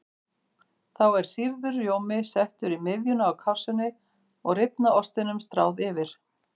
Þá er sýrður rjómi settur í miðjuna á kássunni og rifna ostinum stráð yfir.